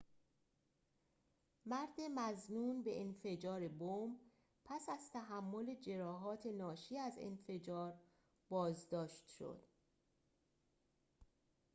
مرد مظنون به انفجار بمب پس از تحمل جراحات ناشی از انفجار بازداشت شد